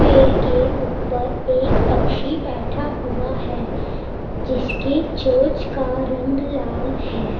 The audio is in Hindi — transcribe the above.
पेड़ के ऊपर एक पक्षी बैठा हुआ है जिसके चोच का रंग लाल है।